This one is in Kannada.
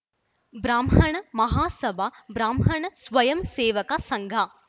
ಬ್ರಾಹ್ಮಣ ಮಹಾಸಭಾ ಬ್ರಾಹ್ಮಣ ಸ್ವಯಂ ಸೇವಕ ಸಂಘ